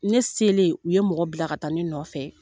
Ne selen u ye mɔgɔ bila ka taa ne nɔfɛ